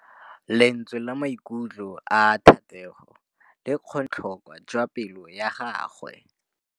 Lentswe la maikutlo a Thategô le kgonne gore re lemosa botlhoko jwa pelô ya gagwe.